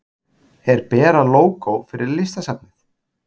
Er Bera lógó fyrir Listasafnið?